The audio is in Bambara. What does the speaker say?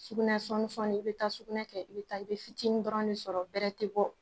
Sugunɛ sɔɔni sɔɔni i bɛ taa sugunɛ kɛ i bɛ fitinin dɔrɔn de sɔrɔ bɛrɛ tɛ bɔ